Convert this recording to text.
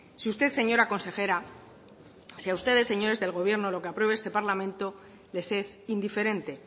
si usted señora consejera si a ustedes señores del gobierno lo que apruebe este parlamento les es indiferente